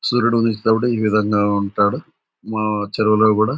సూర్యుడు ఉదయించినపుడు ఈ విధంగా ఉంటాడు. ఉఊహ్హ్ మా చెరువులో కూడా--